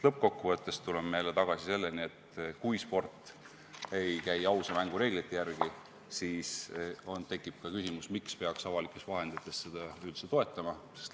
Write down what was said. Lõppkokkuvõttes tuleme tagasi selleni, et kui sport ei käi ausa mängu reeglite järgi, siis tekib küsimus, miks peaks seda avalikest vahenditest üldse toetama.